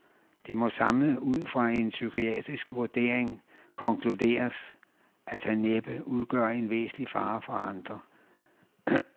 Det må samlet ud fra en psykiatrisk vurdering konkluderes, at han næppe udgør en væsentlig fare for andre.